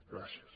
gràcies